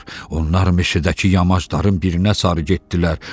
Onlar meşədəki yamaşların birinə sarı getdilər.